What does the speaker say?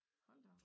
Hold da op